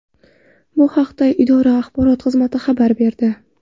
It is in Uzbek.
Bu haqda idora axborot xizmati xabar berdi .